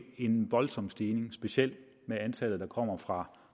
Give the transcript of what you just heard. en voldsom stigning specielt i antallet der kommer fra